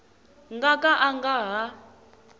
nga ka a nga ha